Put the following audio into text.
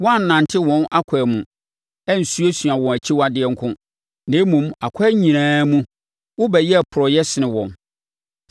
Woannante wɔn akwan mu, ansuasua wɔn akyiwadeɛ nko, na mmom, akwan nyinaa mu, wobɛyɛɛ porɔeɛ sene wɔn.